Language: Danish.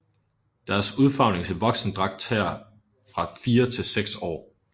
Deres udfarvning til voksendragt tager fra 4 til 6 år